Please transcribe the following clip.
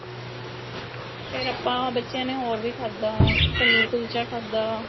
ਫੇਰ ਆਪਾਂ ਬੱਚਿਆ ਨੇ ਹੋਰ ਵੀ ਖਾਦਾ ਪਨੀਰ ਕੁਲਚਾ ਖਾਦਾ